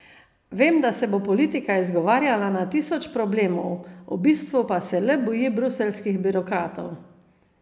Vem, da se bo politika izgovarjala na tisoč problemov, v bistvu pa se le boji bruseljskih birokratov.